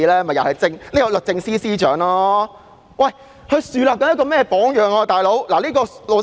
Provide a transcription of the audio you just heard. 不就是因為律政司司長樹立了一個不一般的榜樣。